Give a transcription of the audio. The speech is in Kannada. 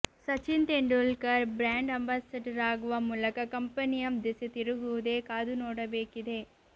ಸಚಿನ್ ತೆಂಡೂಲ್ಕರ್ ಬ್ರಾಂಡ್ ಅಂಬಾಸಡರ್ ಆಗುವ ಮೂಲಕ ಕಂಪನಿಯ ದೆಸೆ ತಿರುಗುವುದೇ ಕಾದು ನೋಡಬೇಕಿದೆ